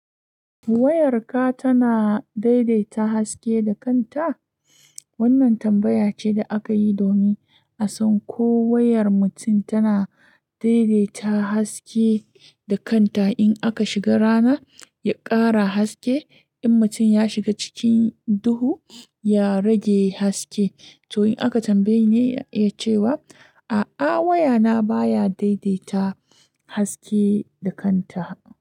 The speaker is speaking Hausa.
"Wayarka tana daidaita haske da kanta? Wannan tambaya ce da aka yi domin a san ko wayar mutum tana daidaita haske da kanta. In aka shiga rana ya ƙara haske, in mutum ya shiga cikin duhu ya rage haske. To in aka tambayeni yacewa, A'a wayana baya daidaita haske da kanta.